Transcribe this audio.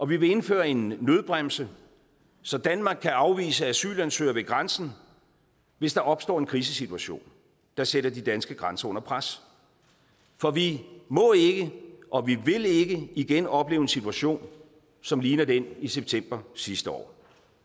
vi vil indføre en nødbremse så danmark kan afvise asylansøgere ved grænsen hvis der opstår en krisesituation der sætter de danske grænser under pres for vi må ikke og vi vil ikke igen opleve en situation som ligner den i september sidste år